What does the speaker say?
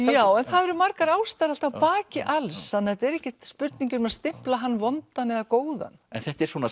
já en það eru margar ástæður alltaf að baki alls þannig að þetta er ekkert spurningin um að stimpla hann vondan eða góðan þetta er svona